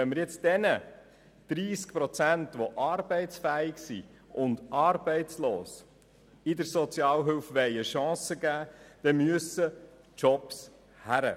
Wenn wir bei Artikel 72 fair bleiben und diesen 30 Prozent, die arbeitsfähig, aber arbeitslos sind, eine Chance geben wollen, dann müssen Jobs her.